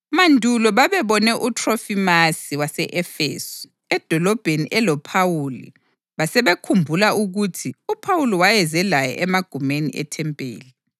(Mandulo babebone uThrofimasi wase-Efesu edolobheni eloPhawuli basebekhumbula ukuthi uPhawuli wayeze laye emagumeni ethempeli.)